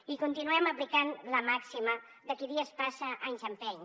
i continuem aplicant la màxima de qui dies passa anys empeny